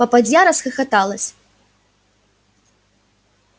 попадья расхлопоталась